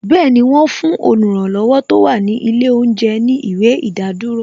Bẹẹni, wọn fún oluranlowo tó wà ní ilé oúnjẹ ní ìwé ìdádúró